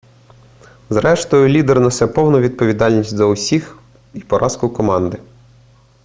зрештою лідер несе повну відповідальність за успіх і поразку команди